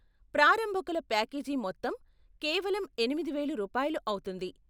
ప్రారంభకుల package మొత్తం కేవలం ఎనిమిది వేలు రూపాయలు అవుతుంది.